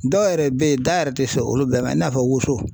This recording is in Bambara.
Dɔw yɛrɛ bɛ yen da yɛrɛ tɛ se olu bɛɛ ma i n'a fɔ woso.